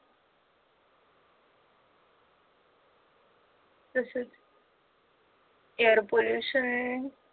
तसंच air pollution